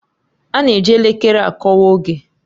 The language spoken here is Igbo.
A na-eji elekere akọwa oge